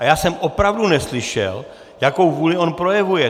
A já jsem opravdu neslyšel, jakou vůli on projevuje.